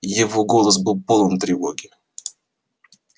его голос был полон тревоги